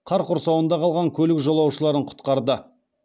қар құрсауында қалған көлік жолаушыларын құтқарды